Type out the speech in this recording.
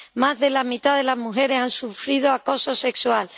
más de la mitad de las mujeres han sufrido acoso sexual